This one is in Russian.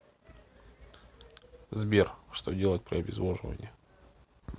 сбер что делать при обезвоживании